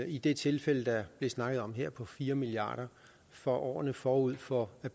i det tilfælde der bliver snakket om her på fire milliard for årene forud for at